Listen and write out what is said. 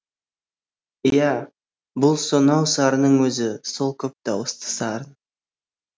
иә бұл сонау сарынның өзі сол көп дауысты сарын